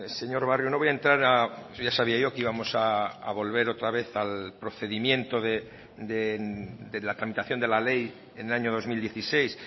señor barrio no voy a entrar ya sabía yo que íbamos a volver otra vez al procedimiento de la tramitación de la ley en el año dos mil dieciséis